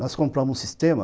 Nós compramos um sistema,